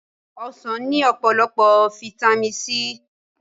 Ọsàn ní ọ̀pọ̀lọpọ̀ Fáítámì C